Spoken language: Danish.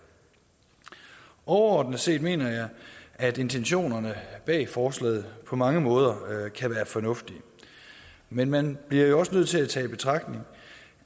overordnet set mener jeg at intentionerne bag forslaget på mange måder kan være fornuftige men man bliver jo også nødt til at tage i betragtning